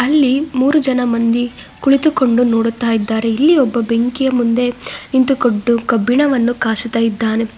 ಅಲ್ಲಿ ಮೂರು ಜನ ಮಂದಿ ಕುಳಿತುಕೊಂಡು ನೋಡುತ್ತಾ ಇದ್ದಾರೆ ಇಲ್ಲಿ ಒಬ್ಬ ಬೆಂಕಿಯ ಮುಂದೆ ನಿಂತುಕೊಂಡು ಕಬ್ಬಿಣವನ್ನು ಕಾಸುತ್ತಾ ಇದ್ದಾನೆ.